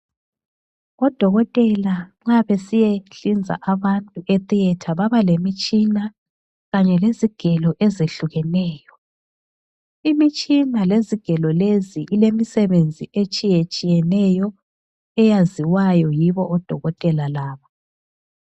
Odokotela nxa besiyahlinza abantu e theatre baba lemitshina kanye lezigelo ezehlukeneyo. Imitshina lezigelo lezi ilemisebenzi etshiyetshiyeneyo eyaziwayo yibo odokotela laba.